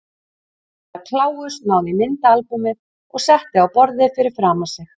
Herra Kláus náði í myndaalbúmið og setti á borðið fyrir framan sig.